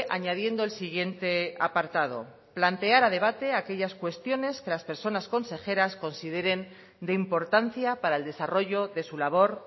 añadiendo el siguiente apartado plantear a debate aquellas cuestiones que las personas consejeras consideren de importancia para el desarrollo de su labor